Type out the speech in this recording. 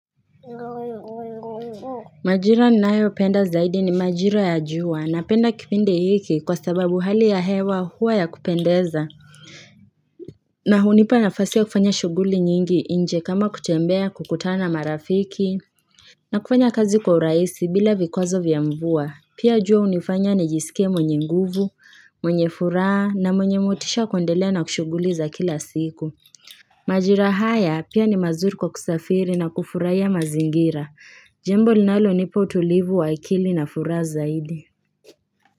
Majira ninayopenda zaidi ni majira ya jua. Napenda kipindi hiki kwa sababu hali ya hewa huwa ya kupendeza na hunipa nafasi ya kufanya shughuli nyingi nje kama kutembea, kukutana na marafiki na kufanya kazi kwa urahisi bila vikwazo vya mvua. Pia jua hunifanya nijisikie mwenye nguvu, mwenye furaha na mwenye motisha ya kuendelea na shughuli za kila siku Majira haya pia ni mazuri kwa kusafiri na kufurahia mazingira Jambo linalonipo utulivu wa akili na furaha zaidi.